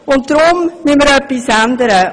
Deswegen müssen wir etwas ändern.